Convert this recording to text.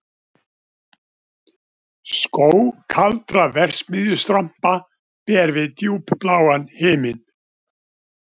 Skóg kaldra verksmiðjustrompa ber við djúpbláan himin